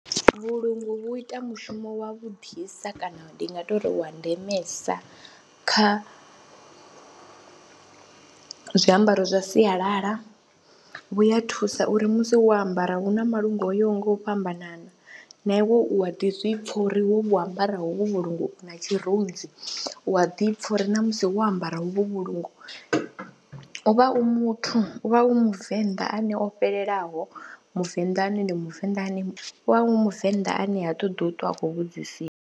Vhulungu vhu ita mushumo wavhuḓisa kana ndi nga tou ri wa ndemesa kha zwiambaro zwa sialala vhu ya thusa uri musi wo ambara hu na malungu o yaho nga u fhambanana na iwe u a ḓi zwi pfha uri wo vhu ambara hovhu vhulungu u na tshirunzi, u a ḓi pfha uri na musi wo ambara hovhu vhulungu u vha u muthu, u vha u muvenḓa ane o fhelelaho, muvenḓa ane ndi muvenḓa ane, u vha u muvenḓa ane ha ṱoḓi u ṱwa a khou vhudzisiwa.